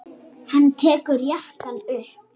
Hann tekur jakkann upp.